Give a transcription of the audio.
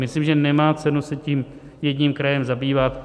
Myslím, že nemá cenu se tím jedním krajem zabývat.